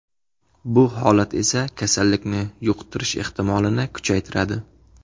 Bu holat esa kasallikni yuqtirish ehtimolini kuchaytiradi.